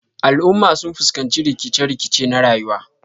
Al'umma sun fuskanci rikice-rikice na ruwa.